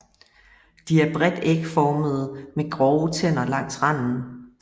De er bredt ægformede med grove tænder langs randen